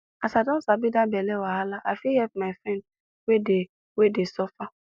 as i don sabi that belle wahala i fit help my friend wey dey wey dey suffer